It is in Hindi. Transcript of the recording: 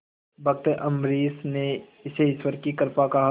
भक्त अम्बरीश ने इसे ईश्वर की कृपा कहा